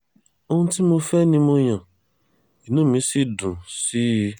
ohun tí mo fẹ́ ni mo yan inú mi sì dùn sí i